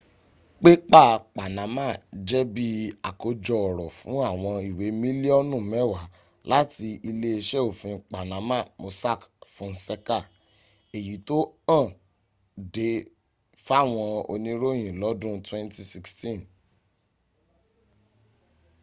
pépà panama jẹ́ bí àkójọ ọ̀rọ̀ fún àwọn ìwé mílíọ̀nù mẹ́wàá láti iléeṣẹ́ òfin panama mossack fonseca èyí tó hàn de fáwọn oníròyìn lọ́dun 2016